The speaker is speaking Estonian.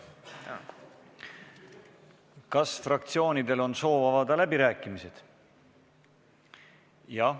Kas fraktsioonidel on soovi avada läbirääkimised?